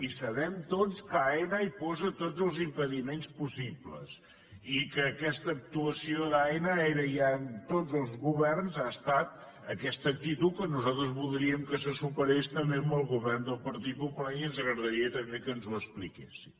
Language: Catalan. i sabem tots que aena hi posa tots els impediments possibles i que aquesta actuació d’aena era ja en tots els governs ha estat aquesta actitud que nosaltres voldríem que se superés també amb el govern del partit popular i ens agradaria també que ens ho expliquessin